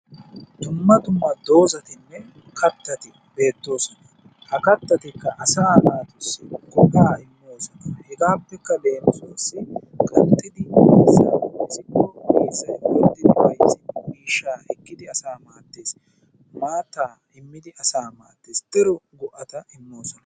Dumma dumma dozatinne kattati beettoosona. Ha kattatikka asaa naatussi go'aa immoosona. Hegaappekka leemisuwassi qanxxidi miizzaa mizikko miizzay orddidi miishshaa ekkidi asaa maaddees. Maattaa immidi asaa maaddoosona. Daro go'ata immoosona.